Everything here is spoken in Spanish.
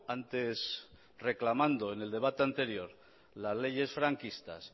antes reclamando en el debate anterior las leyes franquistas